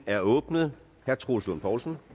er åbnet herre troels lund poulsen